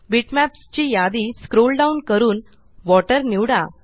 bitmaps ची यादी scroll down करून वॉटर निवडा